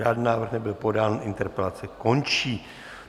Žádný návrh nebyl podán, interpelace končí.